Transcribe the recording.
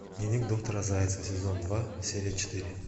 дневник доктора зайцевой сезон два серия четыре